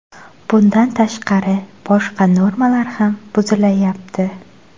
Bundan tashqari, boshqa normalar ham buzilayapti.